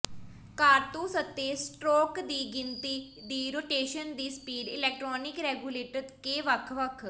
ਕਾਰਤੂਸ ਅਤੇ ਸਟਰੋਕ ਦੀ ਗਿਣਤੀ ਦੀ ਰੋਟੇਸ਼ਨ ਦੀ ਸਪੀਡ ਇਲੈਕਟ੍ਰਾਨਿਕ ਰੈਗੂਲੇਟਰ ਕੇ ਵੱਖ ਵੱਖ